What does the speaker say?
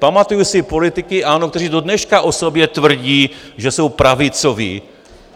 Pamatuji si politiky, ano, kteří do dneška o sobě tvrdí, že jsou pravicoví.